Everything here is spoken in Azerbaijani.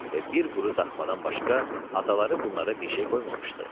və bir quru daxmadan başqa ataları bunlara bir şey qoymamışdı.